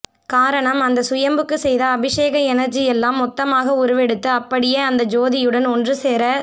காரணம் அந்த சுயம்புக்கு செய்த அபிஷேக எனர்ஜி எல்லாம் மொத்தமாக உருவெடுத்து அப்படியே அந்த ஜோதியுடன் ஒன்று சேர